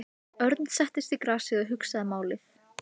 Það brast á músík fyrir aftan hana.